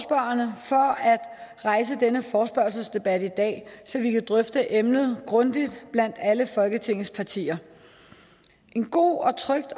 at rejse denne forespørgselsdebat i dag så vi kan drøfte emnet grundigt blandt alle folketingets partier en god og tryg